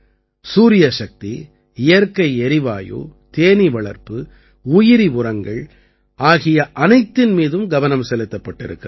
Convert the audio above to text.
சூரியசக்தி இயற்கை எரிவாயு தேனீ வளர்ப்பு உயிரி உரங்கள் ஆகிய அனைத்தின் மீதும் கவனம் செலுத்தப்படுகிறது